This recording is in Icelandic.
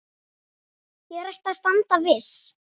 Hér ætti að standa viss.